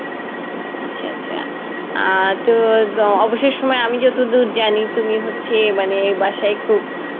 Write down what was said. আচ্ছা আচ্ছা আহ তো অবসর সময়ে আমি যতদুর জানি, তুমি হচ্ছে মানে বাসায় খুব